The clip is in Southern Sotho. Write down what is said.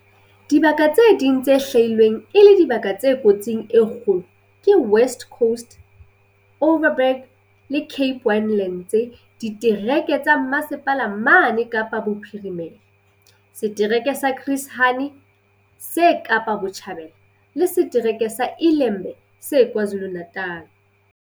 Dibaka tse ding tse hlwailweng e le dibaka tse kotsing e kgolo ke West Coast, Overberg le Cape Winelands ditereke tsa Mmasepala mane Kapa Bophirimela, setereke sa Chris Hani se Kapa Botjhabela, le se-tereke sa iLembe se KwaZulu-Natala.